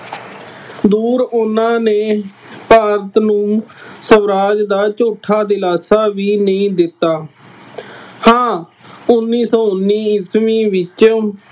ਦੂਰ ਉਹਨਾ ਨੇ ਭਾਰਤ ਦਾ ਸਵਰਾਜ ਦਾ ਝੂਠਾ ਦਿਲਾਸਾ ਵੀ ਨਹੀਂ ਦਿੱਤਾ। ਹਾਂ ਉੱਨੀ ਸੌ ਉੱਨੀ ਈਸਵੀ ਵਿੱਚ